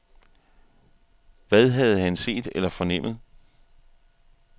Hvad havde han set eller fornemmet?